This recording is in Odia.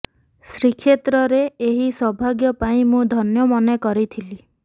ଶ୍ରୀକ୍ଷେତ୍ରରେ ଏହି ସୌଭାଗ୍ୟ ପାଇ ମୁଁ ଧନ୍ୟ ମନେ କରିଥିଲି